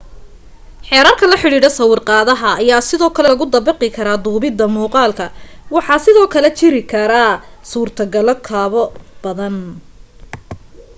xeerarka la xidhiidha sawirqaadaha ayaa sidoo kale lagu dabaqi karaa duubita muuqaalka waxaa sidoo kale jiri kara suurto galo kaboo badan